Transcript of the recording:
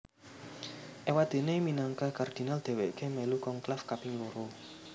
Éwadéné minangka kardinal dhèwèké mèlu konklaf kaping loro